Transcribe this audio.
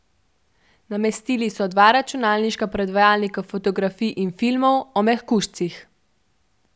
Namestili so dva računalniška predvajalnika fotografij in filmov o mehkužcih.